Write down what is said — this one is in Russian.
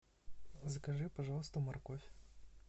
закажи пожалуйста морковь